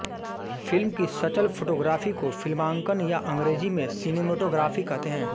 film की सचल photography को फिल्मांकन या अंग्रेज़ी में सिनेमेटोग्राफ़ी कहते है